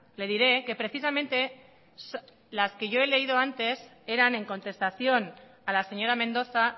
le diré que precisamente las que yo he leído antes eran en contestación a la señora mendoza